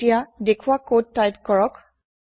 এতিয়া দেখোৱা কদ টাইপ কৰক